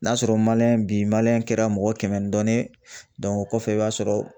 N'a sɔrɔ bi kɛra mɔgɔ kɛmɛ ni dɔɔnin o kɔfɛ, i b'a sɔrɔ